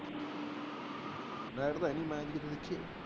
Light ਤਾਂ ਹੈਨੀ match ਕਿੱਥੋਂ ਵੇਖੀਏ।